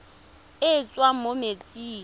e e tswang mo metsing